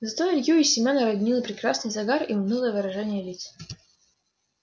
зато илью и семёна роднил прекрасный загар и унылое выражение лиц